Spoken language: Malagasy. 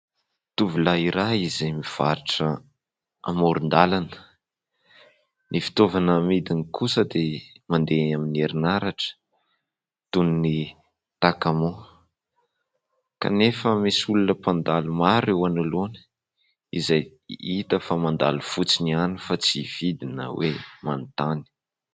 Tovolahy iray izay mivarotra amoron- dalana. Ny fitaovana amidiny kosa dia mandeha amin'ny herinaratra toy ny takamoa kanefa misy olona mpandalo maro eo analoana izay hita fa mandalo fotsiny ihany fa tsy hividy na hoe manontany.